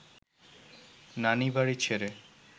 নানিবাড়ি ছেড়ে